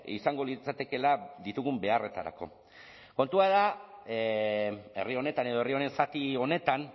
izango litzatekeela ditugun beharretarako kontua da herri honetan edo herri honen zati honetan